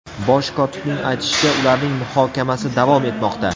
Bosh kotibning aytishicha, ularning muhokamasi davom etmoqda.